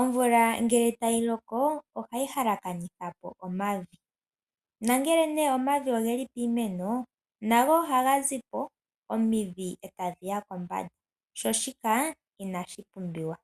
Omvula ngele tayi loko, ohayi halakanitha po omavi, nongele nee omavi ogeli piimeno nago oha ga zi po , omidhi eta dhi ya kombanda. Sho shika inashi pumbiwa.